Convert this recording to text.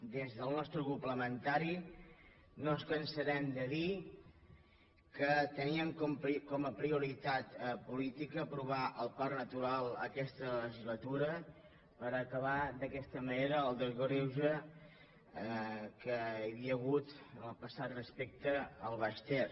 des del nostre grup parlamentari no ens cansarem de dir que teníem com a prioritat política aprovar el parc natural aquesta legislatura per acabar d’aquesta manera amb el greuge que hi havia hagut en el passat respecte al baix ter